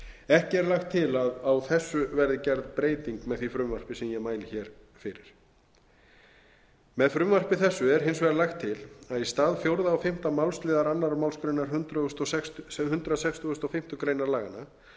ekki er lagt til að á þessu verði gerð breyting með því frumvarpi sem ég mæli hér fyrir með frumvarpi þessu er hins vegar lagt til að í stað fjórða og fimmta málsliðar annarri málsgrein hundrað sextugasta og fimmtu grein laganna